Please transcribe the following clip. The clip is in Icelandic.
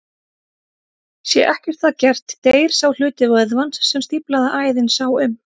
Sé ekkert að gert deyr sá hluti vöðvans sem stíflaða æðin sá um.